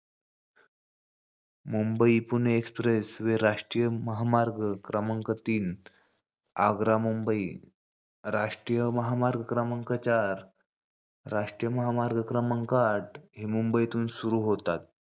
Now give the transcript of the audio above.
Mumbai Pune expressway, राष्ट्रीय महामार्ग क्रमांक तीन, आग्रा-मुंबई, राष्ट्रीय महामार्ग क्रमांक चार, राष्ट्रीय महामार्ग क्रमांक आठ, हे मुंबईतुन सुरू होतात.